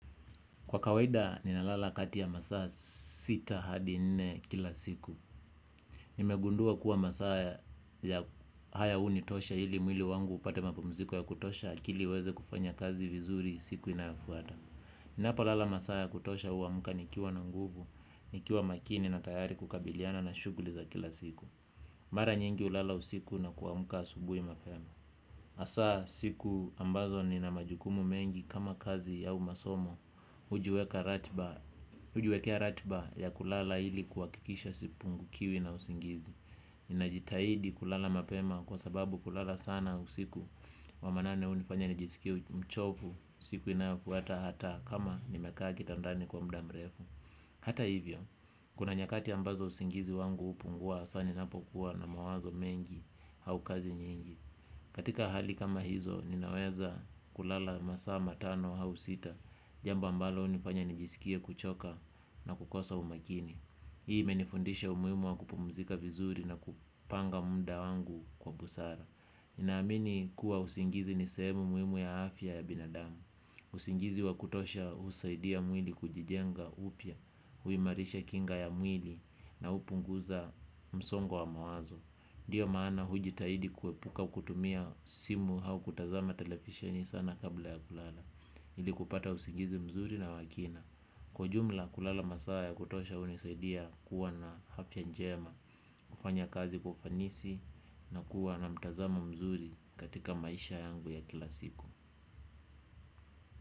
Kwa kawaida ninalala kati ya masaa sita hadi nne kila siku. Nimegundua kuwa masaa haya hunitosha ili mwili wangu upate mapumziko ya kutosha akili iweze kufanya kazi vizuri siku inayofuata. Ninapolala masaa ya kutosha huamka nikiwa na nguvu, nikiwa makini na tayari kukabiliana na shughuli za kila siku. Mara nyingi hulala usiku na kuamka asubuhi mapema. Hasa siku ambazo nina majukumu mengi kama kazi au masomo hujiweka ratiba hujiwekea ratiba ya kulala ili kuhakikisha sipungukiwi na usingizi. Ninajitahidi kulala mapema kwa sababu kulala sana usiku wa manane hunifanya nijisikie mchovu siku inayofuata hata kama nimekaa kitandani kwa muda mrefu. Hata hivyo, kuna nyakati ambazo usingizi wangu hupungua hasa ninapokuwa na mawazo mengi au kazi nyingi katika hali kama hizo ninaweza kulala masaa matano au sita. Jambo ambalo hunifanya nijisikie kuchoka na kukosa umakini. Hii imenifundisha umuhimu wa kupumzika vizuri na kupanga muda wangu kwa busara. Ninaamini kuwa usingizi ni sehemu muhimu ya afya ya binadamu. Usingizi wa kutosha husaidia mwili kujijenga upya huimarisha kinga ya mwili na hupunguza msongo wa mawazo. Ndiyo maana hujitahidi kuepuka kutumia simu au kutazama televisheni sana kabla ya kulala ili kupata usingizi mzuri na wa kina kwa jumla kulala masaa ya kutosha hunisaidia kuwa na afya njema. Kufanya kazi kwa ufanisi na kuwa na mtazamo mzuri katika maisha yangu ya kila siku.